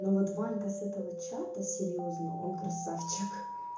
но вот ванька с этого чата серьёзно он красавчик